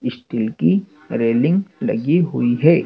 Steel की railing लगी हुई है।